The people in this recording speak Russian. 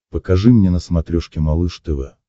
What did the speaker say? покажи мне на смотрешке малыш тв